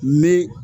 Me